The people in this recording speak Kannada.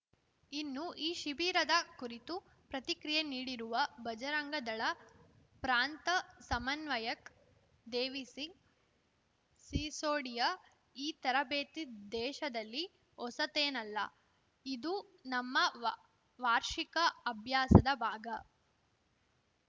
ಇನ್ನು ಈ ಶಿಬಿರದ ಕುರಿತು ಪ್ರತಿಕ್ರಿಯೆ ನೀಡಿರುವ ಬಜರಂಗ ದಳ ಪ್ರಾಂತ ಸಮನ್ವಯಕ್‌ ದೇವಿಸಿಂಗ್‌ ಸಿಸೋಡಿಯಾ ಈ ತರಬೇತಿ ದೇಶದಲ್ಲಿ ಹೊಸತೇನಲ್ಲ ಇದು ನಮ್ಮ ವಾ ವಾರ್ಷಿಕ ಅಭ್ಯಾಸದ ಭಾಗ